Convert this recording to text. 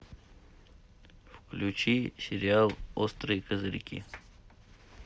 включи сериал острые козырьки